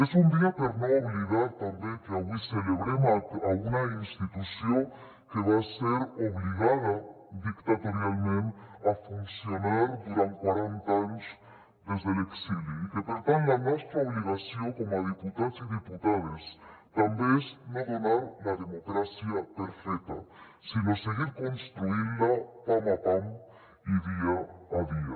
és un dia per a no oblidar també que avui celebrem una institució que va ser obligada dictatorialment a funcionar durant quaranta anys des de l’exili i que per tant la nostra obligació com a diputats i diputades també és no donar la democràcia per feta sinó seguir construint la pam a pam i dia a dia